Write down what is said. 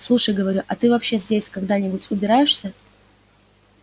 слушай говорю а ты вообще здесь когда-нибудь убираешься